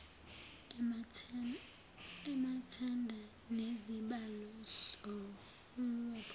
amathenda nezibalo zohwebo